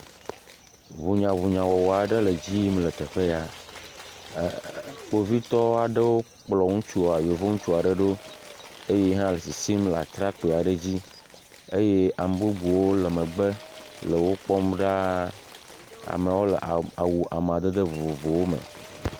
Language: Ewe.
Ɖunyaɖunya wɔwɔ aɖe le edzi yim le teƒe ya. E e.. kpovitɔwo aɖewo kplɔ ŋutsu yevuŋutsu aɖe ɖo eye yi hã le sisim le atakpi aɖe dzi eye ame bubuwo le megbe le wokpɔm ɖaa. Amewo le awu amadede vovovowo me.